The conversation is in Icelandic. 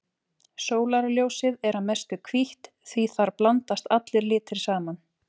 Sólarljósið er að mestu hvítt því þar blandast allir litir saman.